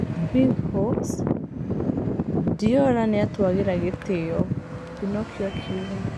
Big Hawks: Diola "nĩatwagira gĩtĩo," Pinokio akiuga.